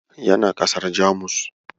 Yana ƙasar Jamus.